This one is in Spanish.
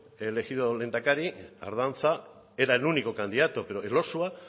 elegido lehendakari ardanza era el único candidato pero elosua